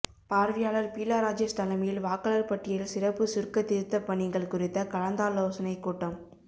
பார்வையாளர் பீலா ராஜேஷ் தலைமையில் வாக்காளர் பட்டியல் சிறப்பு சுருக்கத் திருத்தப்பணிகள் குறித்த கலந்தாலோசனைக்கூட்டம்